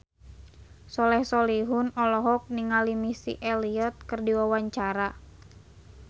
Soleh Solihun olohok ningali Missy Elliott keur diwawancara